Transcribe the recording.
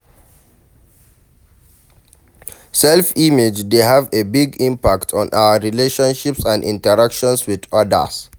Self-image dey have a big impact on our relationships and interactions with odas.